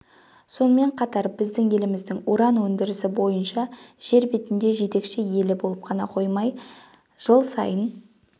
сонымен қатар біздің еліміз уран өндірісі бойынша жер бетінде жетекші елі болып қана қоймай жыл сайын